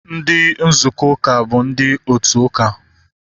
Ndị nzukọ uka bụ ndị otu ụka